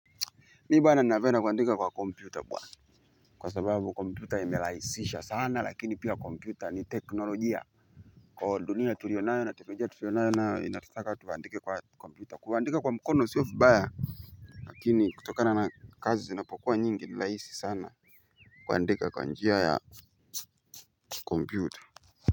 Mibana navena kuandika kwa kompyuta bwana. Kwa sababu kompyuta imelahisisha sana lakini pia kompyuta ni teknolojia. Kwa dunia tulionayo na tumeja tulionayo nayo inatutaka tuandike kwa kompyuta kuandika kwa mkono siofibaya. Lakini kutokana na kazi zinapokua nyingi ni lahisi sana. Kuandika kwa njia ya kompyuta.